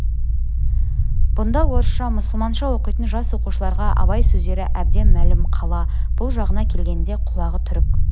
бұнда орысша мұсылманша оқитын жас оқушыларға абай сөздері әбден мәлім қала бұл жағына келгенде құлағы түрік